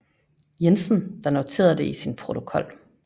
Jensen der noterede det i sin protokol